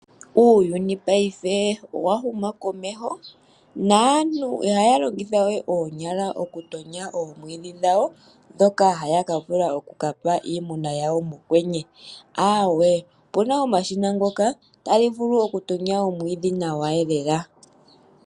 Uuyuni ngaashingeyi owa huma komeho, naantu ihaya longitha we oonyala oku tonya oomwiidhi dhawo, ndhoka haya ka vula okukapa iimuna yawo mokwenye, aawee, opuna omashina ngoka tali vulu oku tonya omwiidhi nawa lela.